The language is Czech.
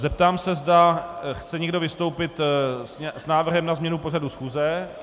Zeptám se, zda chce někdo vystoupit s návrhem na změnu pořadu schůze.